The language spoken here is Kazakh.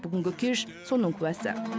бүгінгі кеш соның куәсі